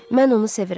Mən onu sevirəm.